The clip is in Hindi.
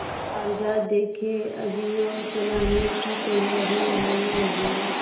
कागजात देखें अभियोग चलाने की तैयारियॉँ होने लगीं